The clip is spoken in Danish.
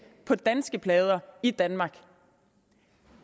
på danske plader i danmark